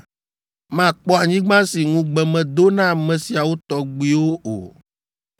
makpɔ anyigba si ŋugbe medo na ame siawo tɔgbuiwo o.